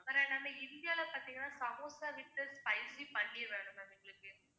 இந்தியால பார்த்தீங்கன்னா samosa with spicy panneer வேணும் ma'am எங்களுக்கு